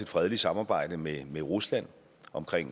fredeligt samarbejde med rusland om